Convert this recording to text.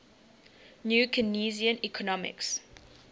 new keynesian economics